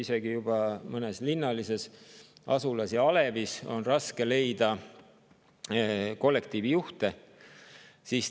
Isegi juba mõnes linnalises asulas ja alevis on raske leida kollektiivijuhte.